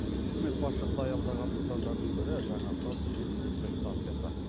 үкімет басшысы аялдаған нысандардың бірі жаңатас жел электр станциясы